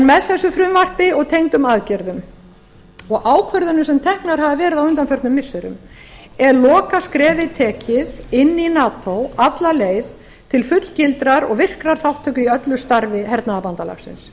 með þessu frumvarpi og tengdum aðgerðum og ákvörðunum sem teknar hafa verið á undanförnum missirum er lokaskrefið tekið inn í nato alla leið til fullgildrar og virkrar þátttöku í öllu starfi hernaðarbandalagsins